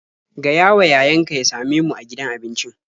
Gayawa yayanka ya same mu a gidan abincin.